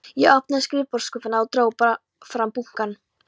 Ég opnaði skrifborðsskúffuna og dró fram bunkann.